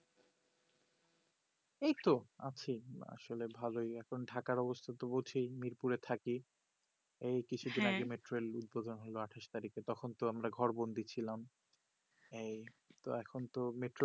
এইতো আছি আসলে ভালোই এখন থাকার অবস্থা হচ্ছেই মিল করে থাকি এই কিছু দিন আগে হ্যা metrology হলো আঠাশ তারিকে তখন তো আমার ঘর বন্দি ছিলাম এই তো এখন তো metro